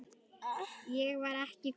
Ég var ekki kona!